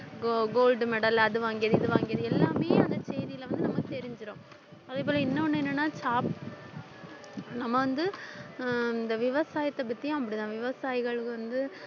go~ gold medal அது வாங்கியது இது வாங்கியது எல்லாமே அந்த செய்தியில வந்து நமக்கு தெரிஞ்சிரும் அதே போல இன்னொன்னு என்னன்னா ச~ நம்ம வந்து அஹ் இந்த விவசாயத்தைப் பத்தியும் அப்படித்தான் விவசாயிகள் வந்து